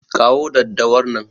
Kawo daddawar nan.